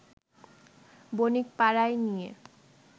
বণিকপাড়ায় নিয়ে